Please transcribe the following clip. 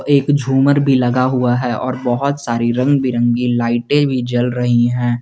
एक झूमर भी लगा हुआ है और बहुत सारी रंग बिरंगी लाइटें भी जल रहीं हैं।